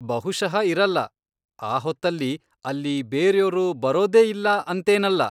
ಬಹುಶಃ ಇರಲ್ಲ. ಆ ಹೊತ್ತಲ್ಲಿ ಅಲ್ಲಿ ಬೇರ್ಯೋರು ಬರೋದೇ ಇಲ್ಲ ಅಂತೇನಲ್ಲ.